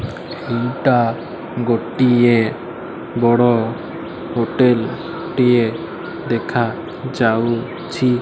ଏଟା ଗୋଟିଏ ବଡ ହୋଟେଲ ଟିଏ ଦେଖା ଯାଉଛି।